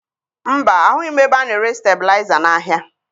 Mba, ahụghị m ebe a na-ere stebilaịza n'ahịa